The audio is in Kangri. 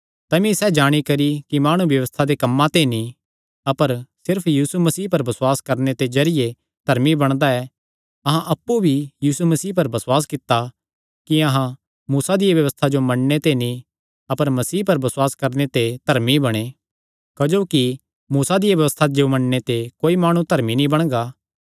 तमी सैह़ जाणी करी कि माणु व्यबस्था दे कम्मां ते नीं अपर सिर्फ यीशु मसीह पर बसुआस करणे दे जरिये धर्मी बणदा ऐ अहां अप्पु भी यीशु मसीह पर बसुआस कित्ता कि अहां मूसा दिया व्यबस्था जो मन्नणे ते नीं अपर मसीह पर बसुआस करणे ते धर्मी बणे क्जोकि मूसा दिया व्यबस्था जो मन्नणे ते कोई माणु धर्मी नीं बणगा